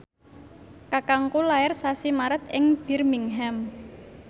kakangku lair sasi Maret ing Birmingham